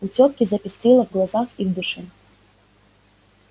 у тётки запестрило в глазах и в душе